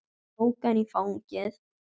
Hann tók hana í fangið.